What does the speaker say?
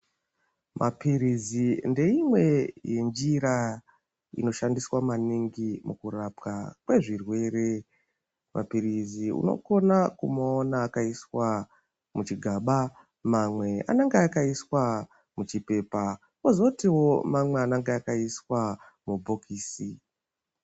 Mapirizi ndeimweni yenjira inoshandiswe maningi pakurapwa kwezvirwere .Mapirizi unokone kumaona akaiswa muzvigaba ,mamwe anenge akaiswa muchipepa, kozoti amweniwo anenge akaiswa muchibhokisi.